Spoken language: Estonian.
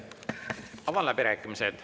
Avan läbirääkimised.